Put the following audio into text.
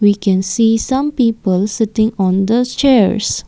we can see some people sitting on the chairs.